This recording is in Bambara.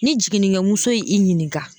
Ni jiginikɛ muso ye i ɲininka.